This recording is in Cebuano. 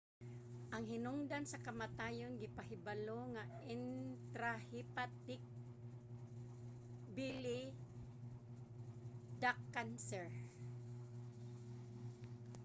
ang hinungdan sa kamatayon gipahibalo nga intrahepatic bile duct cancer